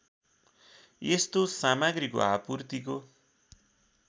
यस्तो सामग्रीको आपूर्तिको